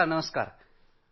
रामगम्पा तेजाः हो साहेब